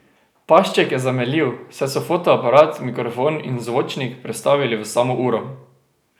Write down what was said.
Pašček je zamenljiv, saj so fotoaparat, mikrofon in zvočnik prestavili v samo uro.